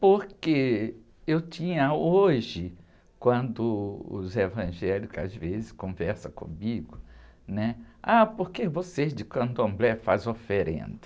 Porque eu tinha hoje, quando os evangélicos às vezes conversam comigo, né? Ah, porque vocês de candomblé fazem oferenda.